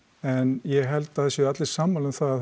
en ég held að það séu allir sammála um það að